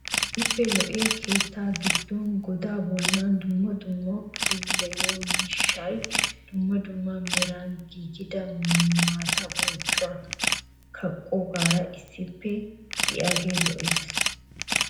Keehippe lo'iya keetta giddon godaa bollan dumma dumma puulayiyo miishshaa dumma dumma meran giigidaage maataa bonccuwa kaqqoogaara issippe diyage lo'es.